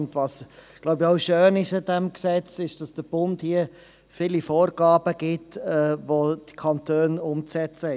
Was an diesem Gesetzt schön ist, ist, dass der Bund viele Vorgaben macht, welche die Kantone umsetzen müssen.